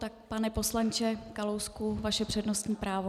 Tak pane poslanče Kalousku, vaše přednostní právo.